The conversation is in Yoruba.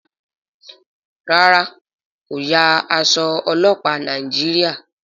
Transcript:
ràrá ko ya Aṣọ ọlọpa Nàìjíríà.